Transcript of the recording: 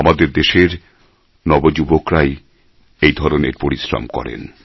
আমাদের দেশের নবযুবকরাই এই ধরনের পরিশ্রম করেন